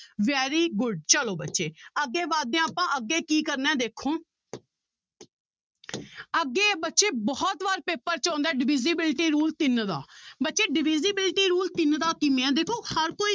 Very good ਚਲੋ ਬੱਚੇ ਅੱਗੇ ਵੱਧਦੇ ਹਾਂ ਆਪਾਂ ਅੱਗੇ ਕੀ ਕਰਨਾ ਹੈ ਦੇਖੋ ਅੱਗੇ ਬੱਚੇ ਬਹੁਤ ਵਾਰ ਪੇਪਰ 'ਚ ਆਉਂਦਾ ਹੈ divisibility rule ਤਿੰਨ ਦਾ ਬੱਚੇ divisibility rule ਤਿੰਨ ਦਾ ਕਿਵੇਂ ਆ ਦੇਖੋ ਹਰ ਕੋਈ